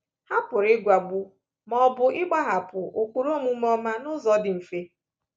Ha pụrụ ịgwagbu ma ọ bụ ịgbahapụ ụkpụrụ omume ọma n’ụzọ dị mfe.